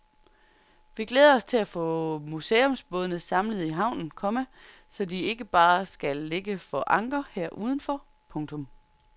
Vi glæder os til at få museumsbådene samlet i havnen, komma så de ikke bare skal ligge for anker her udenfor. punktum